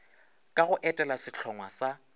ka go etela sehlongwa sa